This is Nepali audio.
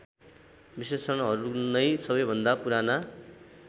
विश्लेषणहरूनै सबैभन्दा पुराना